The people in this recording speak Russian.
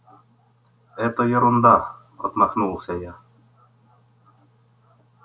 это ерунда отмахнулся я